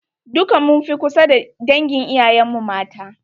Duka mun fi kusa da dangin iyayen mu mata.